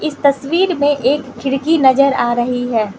तस्वीर में एक खिड़की नज़र आ रही है।